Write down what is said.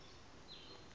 jaar lank geldig